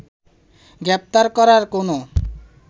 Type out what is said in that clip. গ্রেফতার করার কোনো